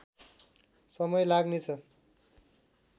समय लाग्ने छ